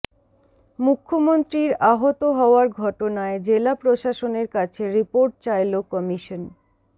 মুখ্যমন্ত্রীর আহত হওয়ার ঘটনায় জেলা প্রশাসনের কাছে রিপোর্ট চাইল কমিশন